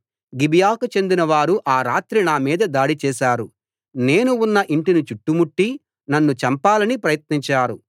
గిబియాకు చెందినవారు ఆ రాత్రి నా మీద దాడి చేశారు నేను ఉన్న ఇంటిని చుట్టుముట్టి నన్ను చంపాలని ప్రయత్నించారు